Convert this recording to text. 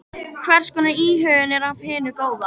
Hvers konar íhugun er af hinu góða.